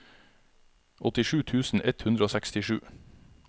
åttisju tusen ett hundre og sekstisju